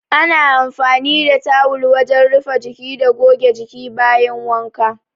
Ana amfani da tawul wajen rufe jiki da goge jiki bayan wanka.